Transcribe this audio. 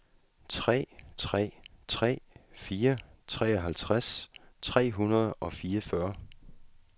tre tre tre fire treoghalvtreds tre hundrede og fireogfyrre